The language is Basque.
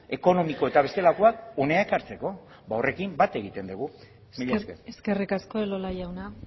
ekonomiko eta bestelakoak hona ekartzeko ba horrekin bat egiten dugu mila esker eskerrik asko elola jauna